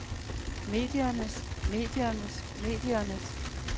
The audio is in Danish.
mediernes mediernes mediernes